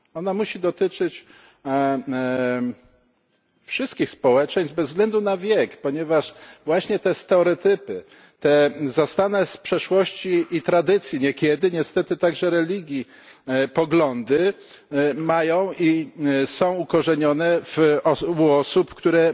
Ona musi dotyczyć wszystkich społeczeństw bez względu na wiek, ponieważ właśnie te stereotypy, te zastane z przeszłości i tradycji, niekiedy niestety także i z religii, poglądy mają i są zakorzenione u osób, które